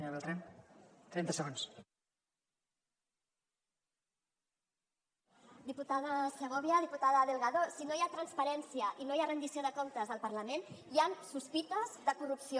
diputada segovia diputada delgado si no hi ha transparència i no hi ha rendició de comptes al parlament hi han sospites de corrupció